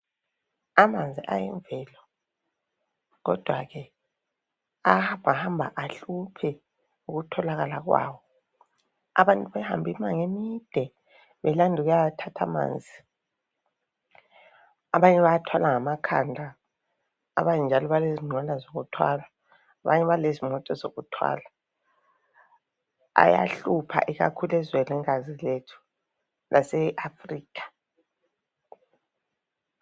Amanzi ayimveloo kodwa ke ayahambahamba ahluphe ukutholakala kwawo, abantu bahambe imango emide belanda ukuyathatha amanzi. Abanye bayathwala ngamakhanda, abanye njalobalezinqola zokuthwala, abanye balezimota zokuthwala. Ayahlupha ikakhulu ezwenikazi lethu laseAfrikha.